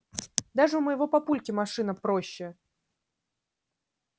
даже у моего папульки машина проще